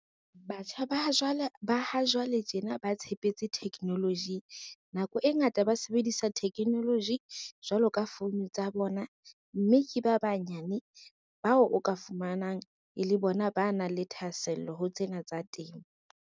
Batjha ba ha jwale tjena ba tshepetse technology nako e ngata ba sebedisa technology jwalo ka founu tsa bona, mme ke ba banyane bao o ka fumanang e le bona ba nang le thahasello ho tsena tsa temo.